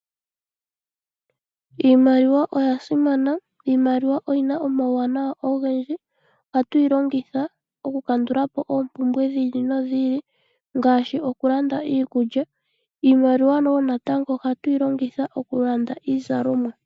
Iimaliwa oya simana oshoka oyina uuwanawa owundji .Ohatu yi longitha okukandula po opumbwe dhili nodhili ngaashi okulanda iikulya ,nosho woo okulanda iizalomwa.